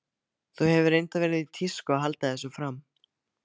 Það hefur reyndar verið í tísku að halda þessu fram.